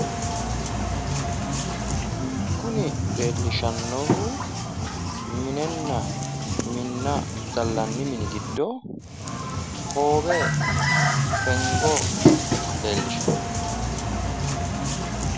kuni leellishannohu minenna minna gallanni mini giddo hoowe fengo leellishawo.